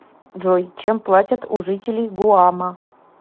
джой чем платят у жителей гуама